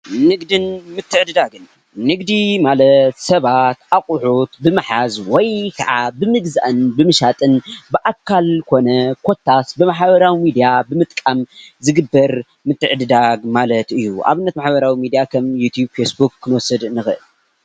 ንግድን ምትዕድጋግን ንግድን ማለት ሰባት ኣቁሑት ብምሓዝ ወይከዓ ብምግዛእን ብምሻጥን ብኣካል ኮነ ኮታስ ብማሕበራዊ ሚድያ ብምጥቃም ዝግበር ምትዕድዳግ ማለት እዩ:: ንኣብነት ብማሕበራዊ ሚድያ ዩቲብ ፌስቡክ ክንወስደ ንክእል።